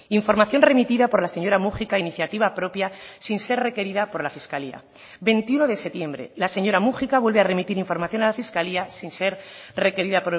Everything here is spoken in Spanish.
información remitida por la señora múgica a iniciativa propia sin ser requerida por la fiscalía veintiuno de septiembre la señora múgica vuelve a remitir información a la fiscalía sin ser requerida